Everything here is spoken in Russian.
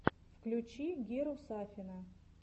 включи геру сафина